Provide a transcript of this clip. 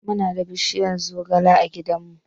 Muna da bishiyar zogale a gidanmu.